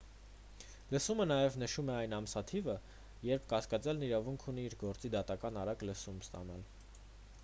լսումը նաև նշում է այն ամսաթիվը երբ կասկածյալն իրավունք ունի իր գործի դատական արագ լսում ստանալ